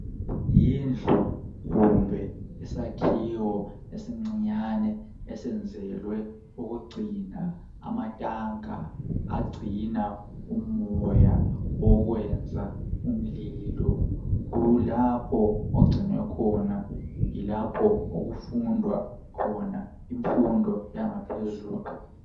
Yindlu kumbe isakhiwo esincinyane esenzelwe ukugcina amatanka agcina umoya wokwenza umlilo , kulapho ogcinwe khona , yilapho okufundwa khona imfundo yangaphezulu